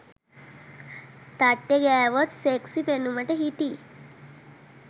තට්ටෙ ගෑවොත් සෙක්සි පෙනුමට හිටියි.